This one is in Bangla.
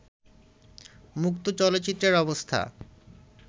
মুক্ত চলচ্চিত্রের অবস্থা